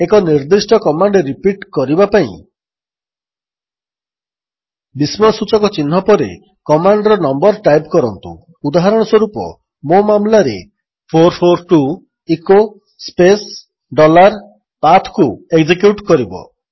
ଏକ ନିର୍ଦ୍ଦିଷ୍ଟ command repeat କରିବା ପାଇଁ ବିସ୍ମୟସୂଚକ ଚିହ୍ନ ଏକ୍ସ୍ଲାମେଶନ୍ ମାର୍କ ପରେ କମାଣ୍ଡର ନମ୍ୱର୍ ଟାଇପ୍ କରନ୍ତୁ ଉଦାହରଣସ୍ୱରୂପ ମୋ ମାମଲାରେ 442 ଇକୋ ସ୍ପେସ୍ ଡଲାର୍PATHକୁ ଏକ୍ଜେକ୍ୟୁଟ୍ କରିବ